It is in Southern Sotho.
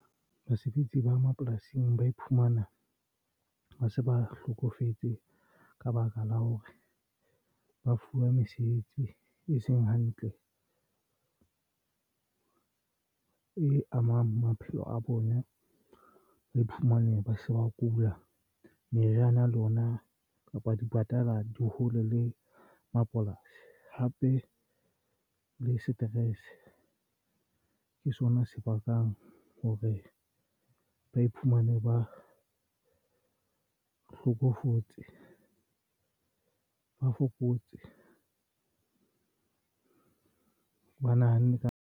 Basebetsi ba mapolasing ba iphumana ba se ba hlokofetse ka baka la hore ba fuwa mesebetsi e seng hantle e amang maphelo a bona ba iphumane ba se ba kula. Meriana ya lona kapa di patala di hole le mapolasi. Hape le stress ke sona se bakang hore ba iphumane ba hlokofetse ba fokotse ba nahanne ka.